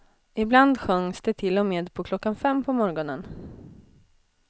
Ibland sjöngs det till och med på klockan fem på morgonen.